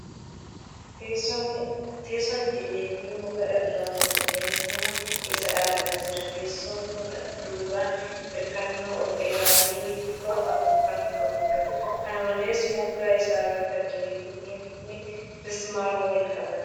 Teessoon itillee fi muka irraa tolfame mana keessa dhaabbatee jira. Teessoon kun duubaan hirkannoo ol dheeraa fi luka afu kan qabuudha. Kana malees, moggaa isaa irratti itillee fi mukni mismaaran wal qabateera.